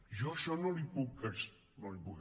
jo això no li ho puc